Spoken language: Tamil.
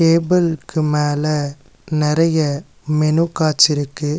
டேபிளுக்கு மேல நெறைய மெனு கார்ட்ஸ் இருக்கு.